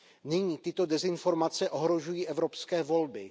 Nyní tyto dezinformace ohrožují evropské volby.